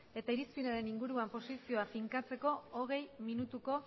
eta irizpidearen inguruan posizioa finkatzeko hogei minutuko